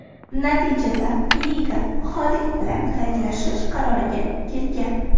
Natijada liga Xolid bilan xayrlashish qaroriga kelgan.